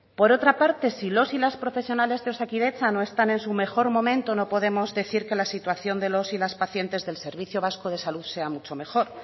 por otra parte si los y las profesionales de osakidetza no están en su mejor momento no podemos decir que la situación de los y las pacientes del servicio vasco de salud sea mucho mejor